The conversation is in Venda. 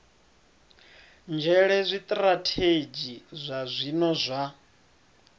nzhele zwitirathedzhi zwa zwino zwa